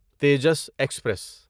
Tejas express